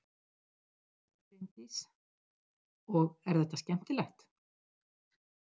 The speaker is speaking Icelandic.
Bryndís: Og er þetta skemmtilegt?